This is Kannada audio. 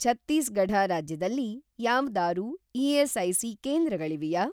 ಛತ್ತೀಸ್‌ಗಢ ರಾಜ್ಯದಲ್ಲಿ ಯಾವ್ದಾರೂ ಇ.ಎಸ್.ಐ.ಸಿ. ಕೇಂದ್ರಗಳಿವ್ಯಾ?